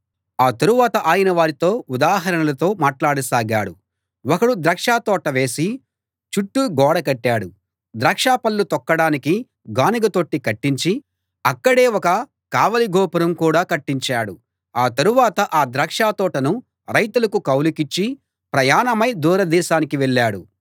ఆ తరువాత ఆయన వారితో ఉదాహరణలతో మాట్లాడసాగాడు ఒకడు ద్రాక్షతోట వేసి చుట్టూ గోడ కట్టాడు ద్రాక్షపళ్ళు తొక్కడానికి గానుగ తొట్టి కట్టించి అక్కడే ఒక కావలి గోపురం కూడా కట్టించాడు ఆ తరువాత ఆ ద్రాక్షతోటను రైతులకు కౌలుకిచ్చి ప్రయాణమై దూర దేశానికి వెళ్ళాడు